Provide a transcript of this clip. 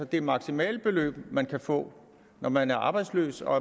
det maksimale beløb man kan få når man er arbejdsløs og